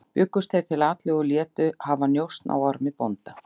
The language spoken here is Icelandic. Bjuggust þeir til atlögu og létu hafa njósn á Ormi bónda.